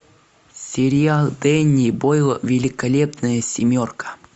сериал денни бойла великолепная семерка